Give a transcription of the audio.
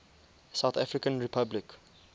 south african republic